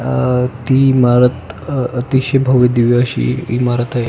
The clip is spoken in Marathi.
अह ती इमारत अह अतिशय भव्य दिव्य अशी इमारत आहे.